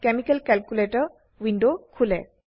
chemical calculator window খোলে